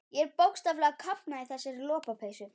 Ég er bókstaflega að kafna í þessari lopapeysu.